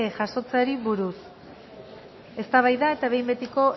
jasotzeari buruz eztabaida eta behin betiko